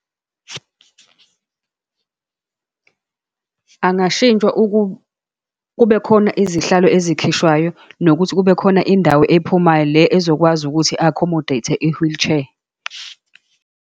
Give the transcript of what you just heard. Angashintshwa kube khona izihlalo ezikhishwayo, nokuthi kube khona indawo ephumayo, le ezokwazi ukuthi i-accommodate-e i-wheelchair.